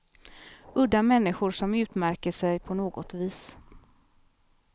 Udda människor som utmärker sig på något vis.